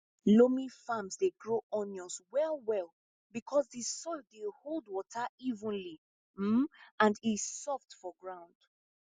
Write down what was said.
loamy farms dey grow onions well well because di soil dey hold water evenly um and e soft for ground